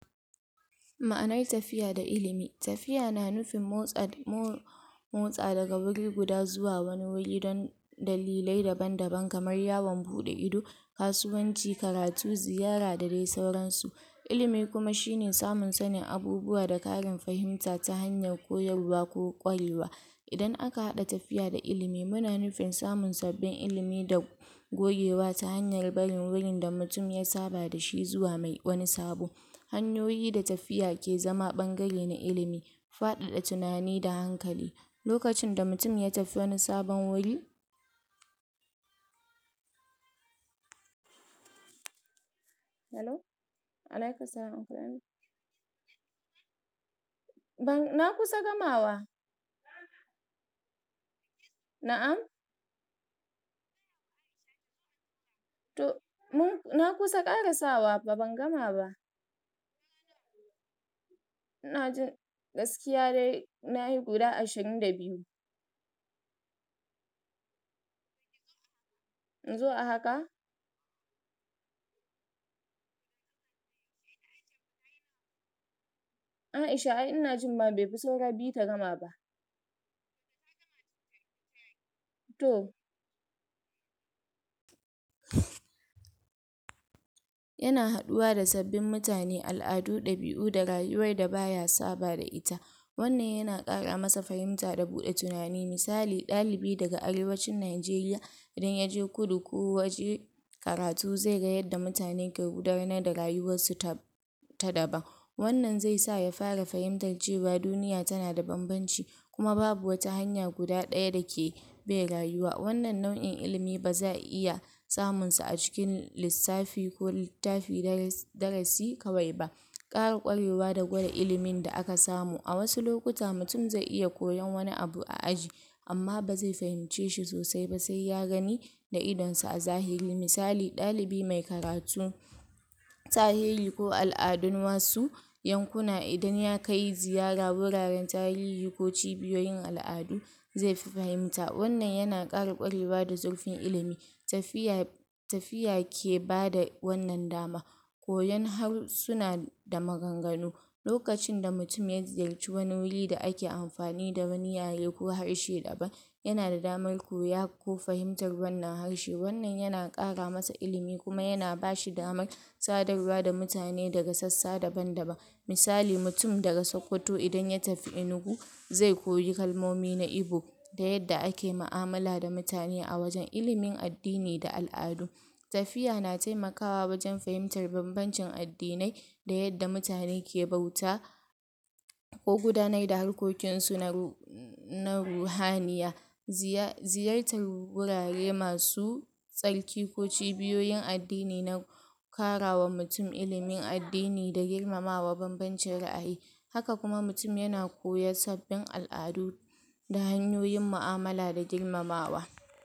Ma'anar tafiya da ilimi. Tafiya na nufin motsawa daga wurin guda zuwa wani wuri don dalilai daban daban kamar yawon bude ido, kasuwanci, karatu, ziyara da dai sauran su. Ilimi kuma shine samun sanin abubuwa da kara fahimta ta fannin koyarwa ko kwarewa. Idan aka haɗa tafiya da ilimi, muna nufin samun sabbin ilimi da gogewa tare da hanyar barin wurin da mutum ya saba dashi zuwa wani sabo. Hanyoyi da tafiya ke zama ɓangare na ilimi, fadada tunani da hankali, lokacin da mutum ya tafi wani sabon wurin,? Yana haduwa da sabbin mutane, al'adu, ɗabiu da rayuwar da baya saba da ita. Wannan yana kara masa fahimta da buda tunani. Misali, daga arewacin Nijeriya idan yaje kudu ko waje karatu zai ga yadda mutane ke gudanar da rayuwar su ta ta daban. Wannan zai sa ya fara fahimta cewa duniya tana da bambanci, kuma babu wata hanya guda daya dake bai rayuwa. Wannan nauyin ilimi ba zai iya samun sa a cikin lissafi ko littafin, darasi kawai ba. Kara kwarewa da gware ilimin da aka samu. A wasu lokuta mutum zai iya koyan wani abu a aji, amma ba zai fahimce shi sosai ba, sai ya gani da idon sa a zahiri. Misali, ɗalibi mai karatu, tarihi ko al'adun wasu yankuna idan yana kai ziyara wuraren tarihi ko cibiyoyin al'adu zai fi fahimta, wannan yana kara kwarewa da zurfin ilimi, tafiya ke bada wannan dama. Koyan harsuna da maganganu. Lokacin da mutum ya ziyarci wani wuri da ake amfani da wani yare ko wani harshe daban yana da damar koyar ko fahimtar wannan harshe, wannan yana kara masa ilimi kuma yana bashi damar sadarwa da mutane daga sassa daban daban. Misali, mutum daga Sokoto idan mutum idan ya tafi Enugu, zai koyi kalmomi na igbo da yadda ake da yadda ake mu'amala da mutane a wajan. Ilimin addini da al'adu, tafiya na taimakawa wajan fahimtar banbacin addinai da yadda mutane ke bauta ko gudanar da harkokin su na ru na ruhaniya. Ziyartar wurare masu tsarki ko cibiyoyin addini na karawa mutum ilimin addini na da girmama wa banbacin ra'ayi. Haka kuma mutum yana koya sabbin al'adu da hanyoyin mu'amala da girmamawa.